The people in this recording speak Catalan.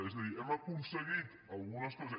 és a dir hem aconseguit algunes coses